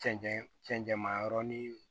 Cɛncɛnma yɔrɔ ni